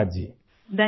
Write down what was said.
شکریہ جی!